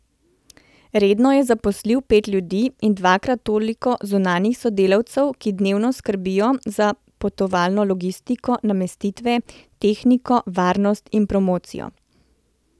Redno je zaposlil pet ljudi in dvakrat toliko zunanjih sodelavcev, ki dnevno skrbijo za potovalno logistiko, namestitve, tehniko, varnost in promocijo.